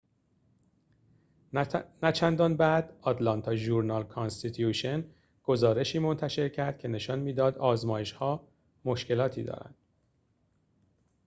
نه‌چندان بعد آتلانتا ژورنال-کانستیتیوشن گزارشی منتشر کرد که نشان می‌داد آزمایش‌ها مشکلاتی دارند